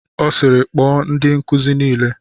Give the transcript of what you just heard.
Ọ sịịrị, kpọọ ndị nkuzi niile!